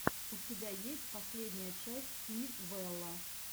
у тебя есть последняя часть пи вэлла